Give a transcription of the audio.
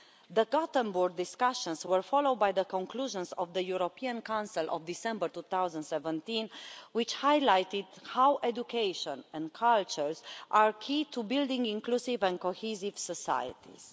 The Gothenburg discussions were followed by the conclusions of the European Council of December 2017, which highlighted how education and cultures are key to building inclusive and cohesive societies.